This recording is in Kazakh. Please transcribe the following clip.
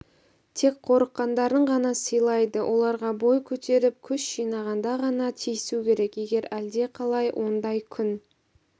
тек қорыққандарын ғана сыйлайды оларға бой көтеріп күш жинағанда ғана тиісу керек егер әлдеқалай ондай күн